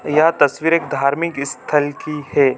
यह तस्वीर एक धार्मिक ईस्थल की है।